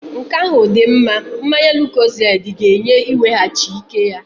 Nke ahụ dị mma. Mmanya lukozedi ga-enye iweghachi ike ya.